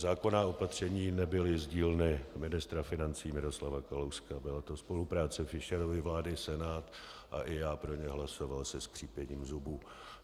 Zákonná opatření nebyla z dílny ministra financí Miroslava Kalouska, byla to spolupráce Fischerovy vlády, Senátu a i já pro ně hlasoval se skřípěním zubů.